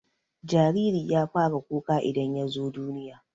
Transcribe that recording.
jariri ya fara kuka idan yazo duniya